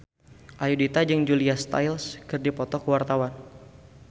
Ayudhita jeung Julia Stiles keur dipoto ku wartawan